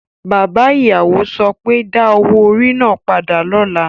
Bàbá ìyàwó so pé, Da owó orí náà padà lọ́la!